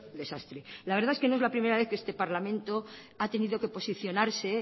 desastre la verdad es que no es la primera vez que este parlamento ha tenido que posicionarse